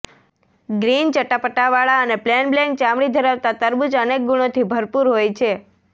green ચટાપટાવાળા અને plain black ચામડી ધરાવતા તરબૂચ અનેક ગૂણોથી ભરપુર હોય છે